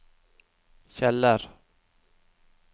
Kjeller